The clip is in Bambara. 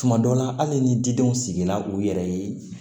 Tuma dɔ la hali ni didenw sigila u yɛrɛ ye